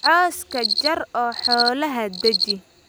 Cawska jar oo xoolaha daaji